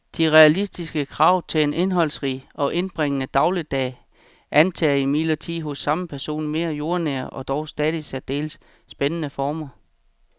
De realistiske krav til en indholdsrig og indbringende dagligdag antager imidlertid hos samme person mere jordnære og dog stadig særdeles spændende former.